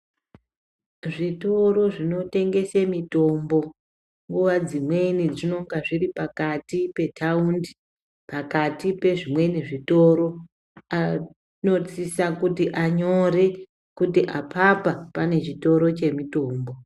Zvitoro zvonotengesa mutombo nguwa dzimweni zvinonge zviri pakati petaundi pakati pezvimweni zvitoro vanosisa kuti vanyore kuti apapa pane chitoro chemutombo.